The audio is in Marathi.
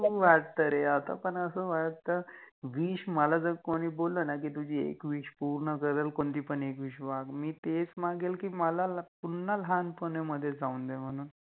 करु वाटत रे, आता पण अस वाटत विश, मला जर कोनि बोलल न कि तुझि एक विश पुर्ण करल, कोणति पण एक विश माग, मि तेच मागेन कि मला ल पुन्हा लहानपणामधे जाउन दे म्हणून